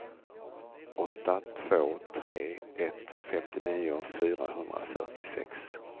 åtta två tre ett femtionio fyrahundrafyrtiosex